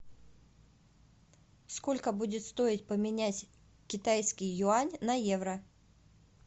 сколько будет стоить поменять китайский юань на евро